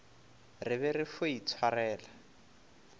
re be re fo itshwarela